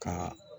Ka